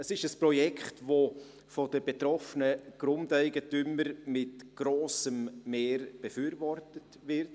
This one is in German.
Es ist ein Projekt, das von den betroffenen Grundeigentümern mit grossem Mehr befürwortet wird.